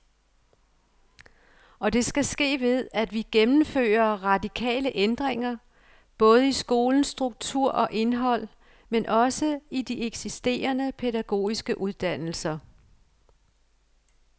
Og det skal ske ved, at vi gennemfører radikale ændringer, både i skolens struktur og indhold, men også i de eksisterende pædagogiske uddannelser.